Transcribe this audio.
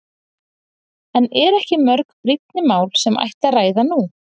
En eru ekki mörg brýnni mál sem ætti að ræða nú?